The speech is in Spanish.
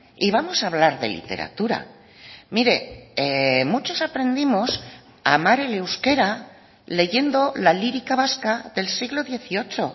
y vamos a hablar de literatura mire muchos aprendimos a amar el euskera leyendo la lírica vasca del siglo dieciocho